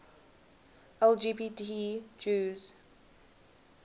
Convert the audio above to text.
lgbt jews